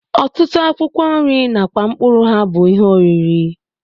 Ọtụtụ akwụkwọ nri nakwa mkpụrụ ha bụ ihe oriri